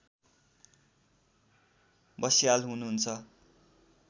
बस्याल हुनुहुन्छ